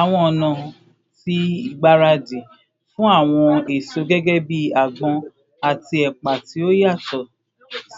Awọn ọna ti igbaradi fun awọn eso gẹgẹbi agbon ati epa ti o yatọ